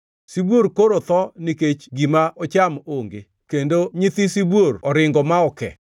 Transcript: Sibuor koro tho nikech gima ocham onge, kendo nyithi sibuor oringo ma oke.